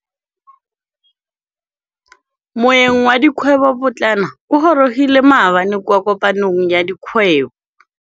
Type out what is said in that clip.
Moêng wa dikgwêbô pôtlana o gorogile maabane kwa kopanong ya dikgwêbô.